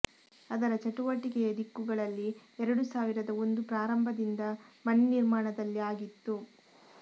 ಅದರ ಚಟುವಟಿಕೆಯ ದಿಕ್ಕುಗಳಲ್ಲಿ ಎರಡು ಸಾವಿರದ ಒಂದು ಪ್ರಾರಂಭದಿಂದ ಮನೆ ನಿರ್ಮಾಣದಲ್ಲಿ ಆಗಿತ್ತು